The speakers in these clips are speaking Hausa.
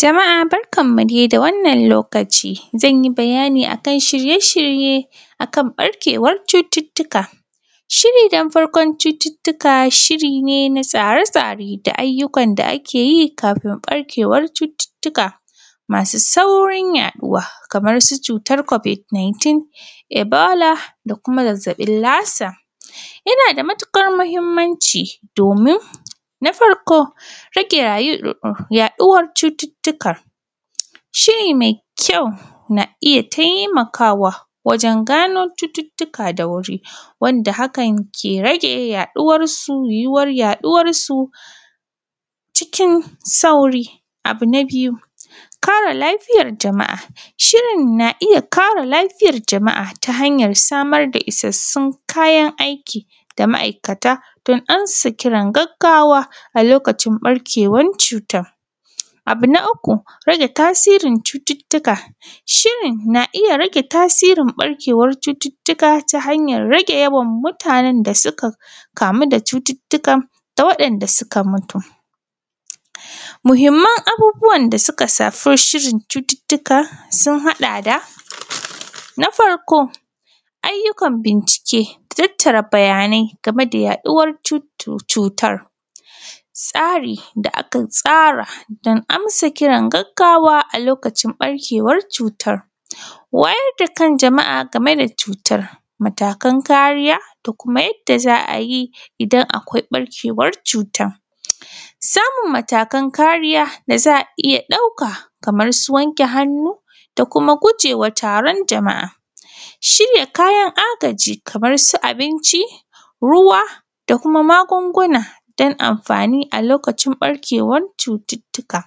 Jama’a barkanmu dai da wannan lokaci zanyi bayani akan shirye-shirye akan barkewan cututuka. Shiri don farkon cututuka shiri ne na tsare-tsare da aiyukan da ake yi kafin barkewar cututuka masu saurin yaduwa, kamar su cutan kobid niytin, ibola da kuma zazzabin lasa. Yana da matukar muhimmanci domin Na farko rage yaduwar cututukan, shiri mai kyau na iya taimakawa wajen gano cututuka da wuri, wanda hakan ke rage yaduwansu, yiwuwar yaduwarsu cikin sauri. Abu na biyu, kare lafiyar jama’a, shirin na iya kare lafiyar jama’a ta hanyar samar da isassun kayan aiki da ma’aikata don ansa kiran gaggawa a lokacin barkewar cutan. Abu na uku rage tasirin cututuka, shirin na iya rage tasirin ɓarkewan cututuka ta hanyar rage yawan mutanen da suka kamu da cututukan da kuma wadanda suka mutu. Muhimman abubuwan da suka shafi safi shirin cututuka sun hada da: Na farko ayyukan bincike, tattara bayanai game da yaduwar cutar, tsari da aka tsara don amsa kiran gaggawa a lokacin barkewan cutan, wayar da kan jama’a game da cutan, matakan kariya da kuma yadda za ayi idan akwai barkewan cutan. Samun matakan kariya da za a iya dauka, kaman su wanke hannu da kuma gujewa taron jama’a, shirya kayan agaji kamar su abinci, ruwa da kuma magunguna don anfani a lokacin barkewar cututuka.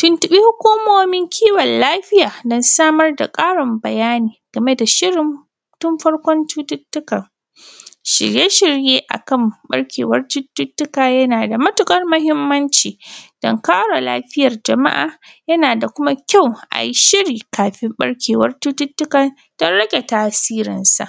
Tuntubi hukumomin kiwon lafiya don samar da karin bayani game da shirin tun farkon cututukan. Shirye-shirye akan barkewar cututuka yana da matukar muhimmanci don kare lafiyar jama’a yana da kuma kyau ayi shiri kafin barkewar cututukan don rage tasirinsa.